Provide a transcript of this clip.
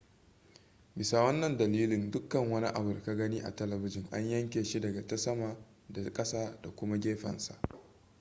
bisa wannan dalilin dukkan wani abu da ka gani a telebijin an yanyanke shi daga ta sama da kasa da kuma gefensa